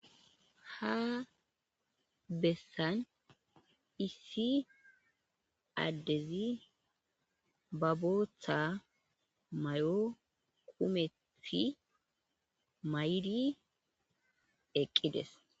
ha bessan issi addezi ba bootha mayo kumethi maydi eqqides